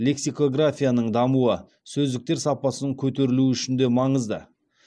лексикографияның дамуы сөздіктер сапасының көтерілуі үшін де маңызды